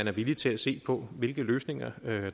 er villige til at se på hvilke løsninger